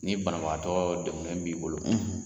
Ni banabagatɔɔ dɛgunnen b'i bolo